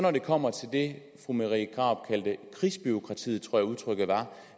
kommer til det fru marie krarup kaldte krigsbureaukratiet det tror jeg udtrykket var